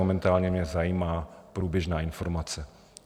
Momentálně mě zajímá průběžná informace.